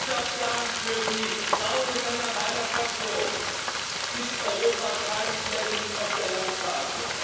Ich darf sagen Für die Frauen und Männer meiner Fraktion ist Europa kein Flecken auf der Landkarte.